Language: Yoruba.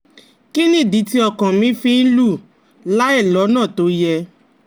Kí nìdí tí ọkàn mi fi ń lù láìlọ́nà tó yẹ?